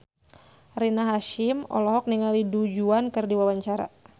Rina Hasyim olohok ningali Du Juan keur diwawancara